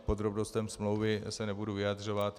K podrobnostem smlouvy se nebudu vyjadřovat.